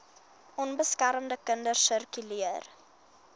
onbeskermde kinders sirkuleer